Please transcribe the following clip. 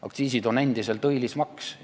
Aktsiisid on endiselt õilis maks.